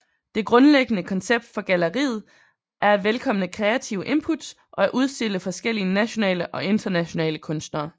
Det grundlæggende koncept for galleriet er at velkomme kreative inputs og at udstille forskellige nationale og internationale kunstnere